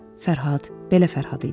Fərhad belə Fərhad idi.